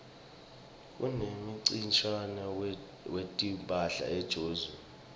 kunemncintiswano wetimphahla ejozi